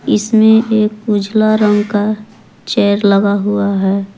इसमें एक उजाला रंग का चेयर लगा हुआ है।